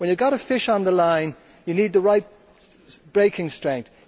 When you have got a fish on the line, you need the right breaking strength.